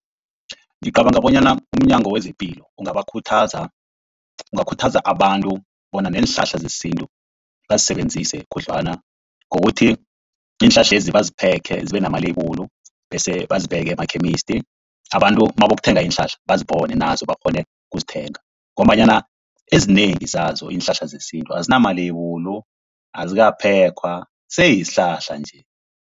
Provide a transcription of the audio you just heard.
Ngicabanga bonyana umnyango wezePilo ungabakhuthaza, ungakhuthaza abantu bona neenhlahla zesintu bazisebenzise khudlwana ngokuthi iinhlahlezi baziphekhe zibe namaleyibulu, bese bazibeke emakhemisti abantu nabayokuthenga iinhlahla bazibone nazo bakghone ukuzithenga, ngombanyana ezinengi zazo iinhlahla zesintu azinamaleyibulu, azikaphekhwa sesihlahla nje.